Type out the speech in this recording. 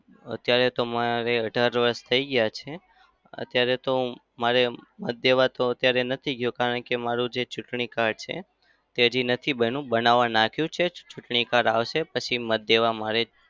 અત્યારે તો મારે અઢાર વર્ષ થઇ ગયા છે. અત્યારે તો મારે મત દેવા તો અત્યારે નથી ગયો. કારણ કે મારું જે ચુંટણી card છે તે અત્યારે નથી બન્યું. બનાવા નાખ્યું છે. ચુંટણી card આવશે પછી મત દેવા મારે